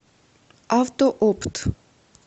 автоопт